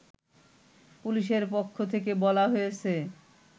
পুলিশের পক্ষ থেকে বলা হয়েছে